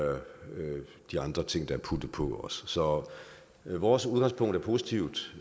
de andre ting der også er puttet på så vores udgangspunkt er positivt